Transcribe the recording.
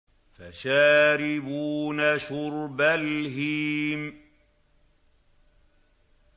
فَشَارِبُونَ شُرْبَ الْهِيمِ